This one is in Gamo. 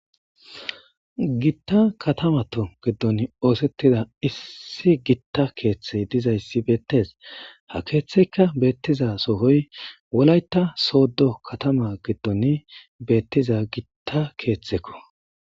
Gitta katamattu giddon oosetida issi gitta keththey diizayssi bettes ha keththeykka bettizasohoy wollaytta sodo katama giddon bettiza gitta keththekko